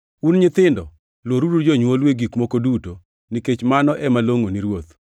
Un nyithindo, luoruru jonywolu e gik moko duto, nikech mano ema longʼo ni Ruoth.